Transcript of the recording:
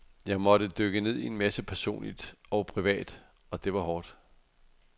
Jeg måtte dykke ned i en masse personligt og privat, og det var hårdt.